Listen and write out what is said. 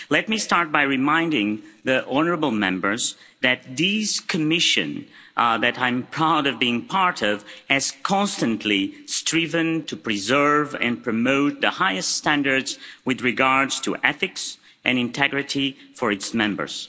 Let me start by reminding the honourable Members that this Commission that I'm proud to be part of has constantly striven to preserve and promote the highest standards with regard to ethics and integrity for its members.